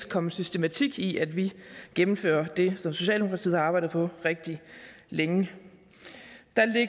komme systematik i at vi gennemfører det som socialdemokratiet har arbejdet på rigtig længe